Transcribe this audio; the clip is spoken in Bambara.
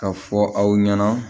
Ka fɔ aw ɲɛna